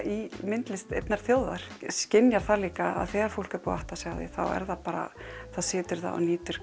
myndlistar einnar þjóðar þú skynjar líka að þegar fólk er búið að átta sig á því þá situr það og nýtur